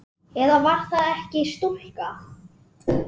Eða var það ekki stúlka?